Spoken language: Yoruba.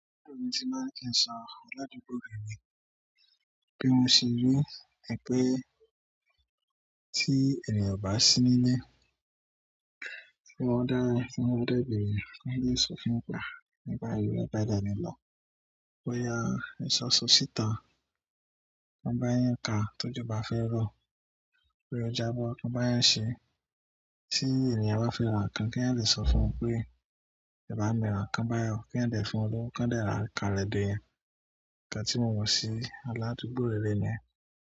Bí mo ti máa ń kí ń sọ aládùúgbò rere ni bé mose ni ẹgbẹ́ tí ènìyàn bá sí níle, tí wọ́n dá fún ọdẹ́bìnrin, kí ó lè sọ fún pa, nígbà ìlú, nígbà ìdánilọ́, bóyá ìṣọ̀ṣọ̀ síta, kan báyẹn ká, tójú bá fẹ́ rọ, pé o jábọ́, kan báyẹn ṣe, tí ènìyàn bá fẹ́ ran ǹkan, kí à dí sọ fún un pé, ìbá mi ran kan báyẹn, kí à dí fún un lóun, kan dẹ́ra ká lẹ́de. Ìgbà tí mo wọ̀ sí aládùúgbò rere náà.